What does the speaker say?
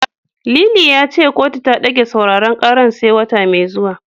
Lili ya ce kotu ta ɗage sauraren karar sai wata mai zuwa.